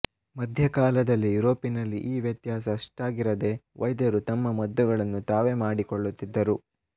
ಮಧ್ಯಕಾಲದ ಯುರೋಪಿನಲ್ಲಿ ಈ ವ್ಯತ್ಯಾಸ ಅಷ್ಟಾಗಿರದೆ ವೈದ್ಯರು ತಮ್ಮ ಮದ್ದುಗಳನ್ನು ತಾವೇ ಮಾಡಿಕೊಳ್ಳುತ್ತಿದ್ದರು